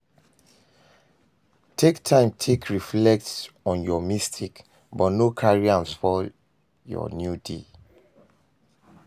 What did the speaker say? Take time take reflect on yur mistake but no carry am spoil yur new day